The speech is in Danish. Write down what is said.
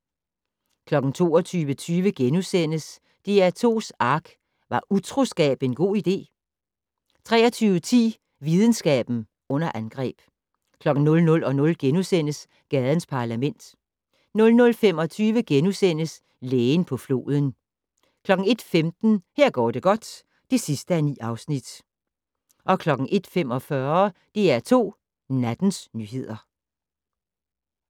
22:20: DR2's ARK - Var utroskab en god idé? * 23:10: Videnskaben under angreb 00:00: Gadens Parlament * 00:25: Lægen på floden * 01:15: Her går det godt (9:9) 01:45: DR2 Nattens nyheder